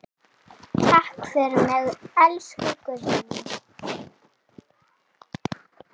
Takk fyrir mig, elsku Guðný.